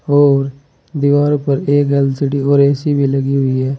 और दीवार पर एक एल_सी_डी और ए_सी भी लगी हुई है।